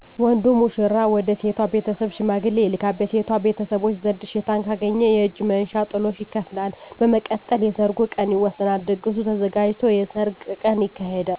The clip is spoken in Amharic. ወንዱ ሙሽራ ወደ ሴቷ ቤተሰብ ሽማግሌ ይልካል። በሴቷ ቤተሰቦች ዘንድ እሽታን ካገኘ የእጅ መንሻ (ጥሎሽ) ይከፍላል። በመቀጠል የሰርጉ ቀን ይወሰናል። ድግሱ ተዘጋጅቶ የሰርግ ቀን ይካሄዳል።